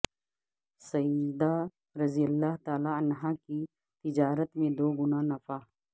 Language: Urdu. سیدہ رضی اللہ تعالی عنہا کی تجارت میں دوگنانفع